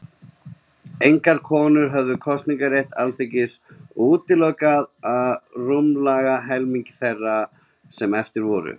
Engar konur höfðu kosningarétt til Alþingis, og útilokaði það rúmlega helming þeirra sem eftir voru.